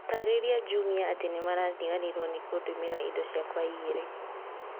Taarĩria Jumia atĩ nĩmariganĩirwo nĩ kũndũmĩra indo ciakwa igĩrĩ